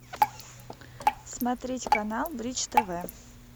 смотреть канал бридж тв